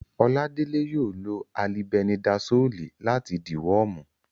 Oládélé yóò lo alibẹnidasóòlì láti dìwọ́ọ̀mù